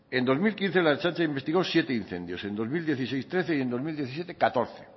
en dos mil quince la ertzaintza investigó siete incendios en dos mil dieciséis trece y en dos mil diecisiete hamalau